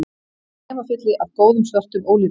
Hnefafylli af góðum, svörtum ólífum